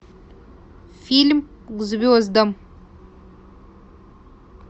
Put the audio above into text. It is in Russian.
фильм к звездам